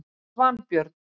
Svanbjörn